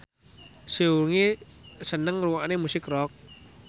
Seungri seneng ngrungokne musik rock